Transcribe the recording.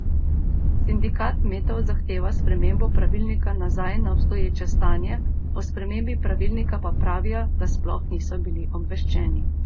Sindikat kmetov zahteva spremembo pravilnika nazaj na obstoječe stanje, o spremembi pravilnika pa pravijo, da sploh niso bili obveščeni.